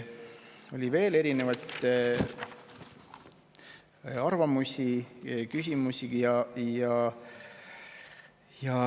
Oli veel erinevaid arvamusi ja küsimusi.